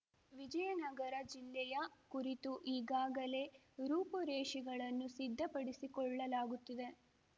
ವಿಜಯನಗರ ಜಿಲ್ಲೆಯ ಕುರಿತು ಈಗಾಗಲೇ ರೂಪುರೇಷೆಗಳನ್ನು ಸಿದ್ಧಪಡಿಸಿಕೊಳ್ಳಲಾಗುತ್ತಿದೆ